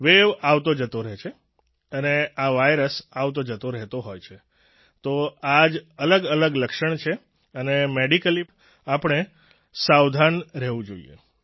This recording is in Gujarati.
વેવ આવતોજતો રહે છે અને આ વાયરસ આવતોજતો રહેતો હોય છે તો આ જ અલગઅલગ લક્ષણ છે અને મેડિકલી આપણે સાવધાન રહેવું જોઈએ